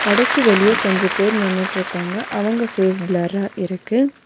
கடைக்கு வெளிய கொஞ்ச பேர் நின்னுட்ருக்காங்க அவங்க ஃபேஸ் பிளர்ரா இருக்கு.